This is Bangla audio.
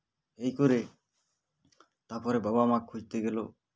এই করে তারপরে বাবা মা খুঁজতে গেলো